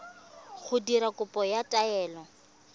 go dira kopo ya taelo